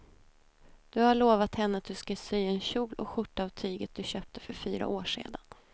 Du har lovat henne att du ska sy en kjol och skjorta av tyget du köpte för fyra år sedan.